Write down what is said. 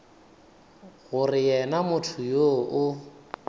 gore yena motho yoo o